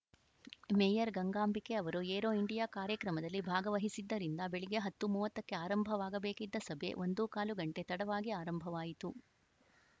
mayor Gangambike ಅವರು Aero India ಕಾರ್ಯಕ್ರಮದಲ್ಲಿ ಭಾಗವಹಿಸಿದ್ದರಿಂದ ಬೆಳಗ್ಗೆ ಹತ್ತು ಮೂವತ್ತು ಕ್ಕೆ ಆರಂಭವಾಗಬೇಕಿದ್ದ ಸಭೆ ಒಂದೂ ಕಾಲು ಗಂಟೆ ತಡವಾಗಿ ಆರಂಭವಾಯಿತು